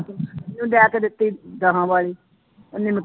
ਦਿੱਤੀ ਉਹਨੇ